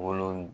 Wolo